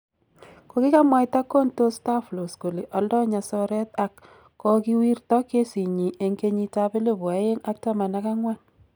Kogimwaito Contostavlos kole aldoi nyasoret ak kogiwirto kesinyi eng kenyit ab elibu aeng ak taman ak angwan